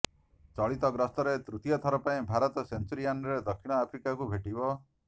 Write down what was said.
ଚଳିତ ଗସ୍ତରେ ତୃତୀୟ ଥର ପାଇଁ ଭାରତ ସେଞ୍ଚୁରିଅନରେ ଦକ୍ଷିଣ ଆଫ୍ରିକାକୁ ଭେଟିବ